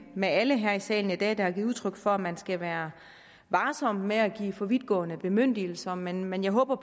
med alle her i salen i dag der har givet udtryk for at man skal være varsom med at give for vidtgående bemyndigelser men men jeg håber